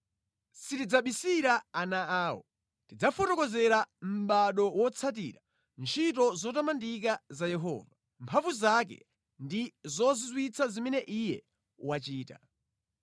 Sitidzabisira ana awo, tidzafotokozera mʼbado wotsatira ntchito zotamandika za Yehova, mphamvu zake, ndi zozizwitsa zimene Iye wachita.